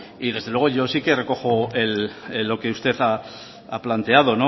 y desde luego yo sí que recojo lo que usted ha planteado